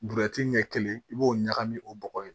ɲɛ kelen i b'o ɲagami o bɔgɔ ye